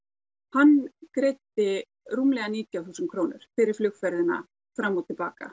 hann greiddi rúmlega nítján þúsund krónur fyrir flugferðina fram og til baka